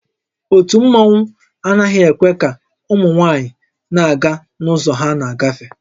Ótú mmanwu anaghị ekwe ka ụmụ nwaanyị na-aga n'ụzọ ha na-agafe